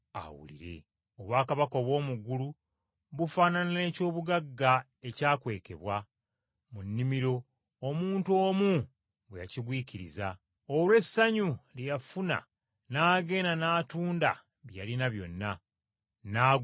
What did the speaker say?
“Obwakabaka obw’omu ggulu bufaanana n’ekyobugagga ekyakwekebwa mu nnimiro omuntu omu bwe yakigwikiriza. Olw’essanyu lye yafuna n’agenda n’atunda bye yalina byonna, n’agula ennimiro eyo.